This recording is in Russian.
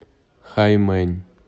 хаймэнь